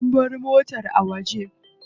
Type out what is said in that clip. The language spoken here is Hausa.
An bar motar a waje.